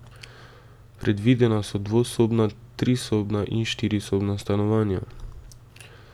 Predvidena so dvosobna, trisobna in štirisobna stanovanja.